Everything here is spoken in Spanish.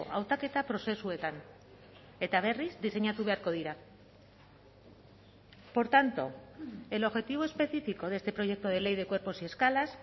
hautaketa prozesuetan eta berriz diseinatu beharko dira por tanto el objetivo específico de este proyecto de ley de cuerpos y escalas